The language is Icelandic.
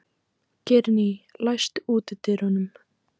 Geirný, læstu útidyrunum.